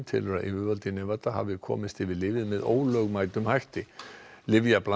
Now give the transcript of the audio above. telur að yfirvöld í hafi komist yfir lyfið með ólögmætum hætti